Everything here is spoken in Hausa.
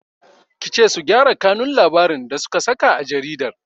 Kice su gyara kanun labarin da suka saka a jaridar!